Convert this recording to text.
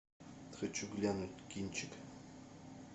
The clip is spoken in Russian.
хочу глянуть кинчик